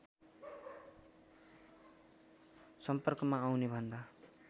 सम्पर्कमा आउने भन्दा